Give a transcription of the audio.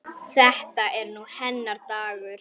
Þetta er nú hennar dagur.